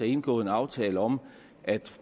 indgået en aftale om at